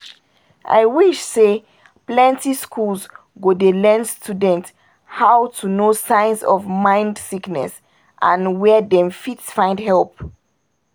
i wish say plenty schools go dey learn students how to know signs of mind sickness and where dem fit find help